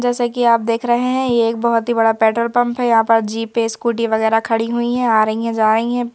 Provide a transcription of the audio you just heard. जैसे कि आप देख रहे हैं ये एक बहुत ही बड़ा पेट्रोल पंप हैं यहाँ पर जीप पे स्कूटी वगैरह खड़ी हुई हैं आ रही हैं जा रही हैं।